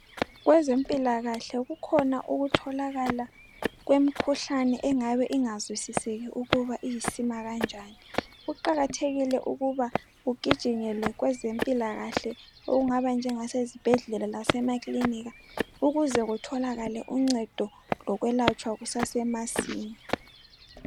Kwezempilakahle kukhona ukutholakala kwemkhuhlane engabe ingazwisiseki ukuba iyisima kanjani kuqakathekile ukuba kugijinyelwe kwezempilakahle okungaba njengasezibhedlela lasema klinika ukuze kutholakale uncedo lokwelatshwa kusesemasinya